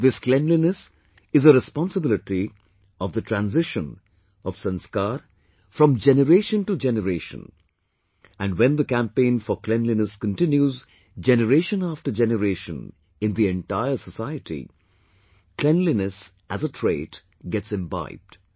This cleanliness is a responsibility of the transition of sanskar from generation to generation and when the campaign for cleanliness continues generation after generation in the entire society cleanliness as a trait gets imbibed